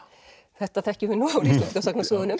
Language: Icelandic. þetta þekkjum við